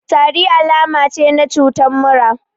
Tari alama ce na cutan mura